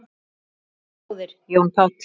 Kæri bróðir, Jón Páll.